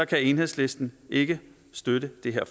kan enhedslisten ikke støtte det her